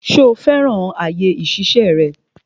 Ṣo fẹ́ràn àyè ìṣiṣẹ́ rẹ?